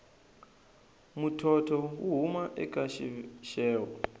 muthotho wu huma eka xixevo